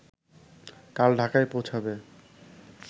কাল ঢাকায় পৌঁছাবে